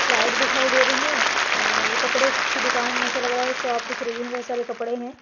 Flight दिखाई दे रही है और कपड़े की दुकान ऐसा लग रहा शॉप दिख रही है बहोत सारे कपड़े हैं।